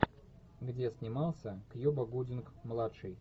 где снимался кьюба гудинг младший